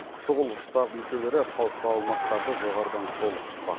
шұғыл штаб мүшелері қауіпті аумақтарды жоғарыдан шолып шықпақ